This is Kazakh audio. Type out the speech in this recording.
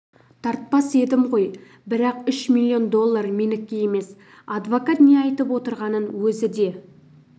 тартпас едім ғой бірақ үш миллион доллар менікі емес адвокат не айтып отырғанын өзі де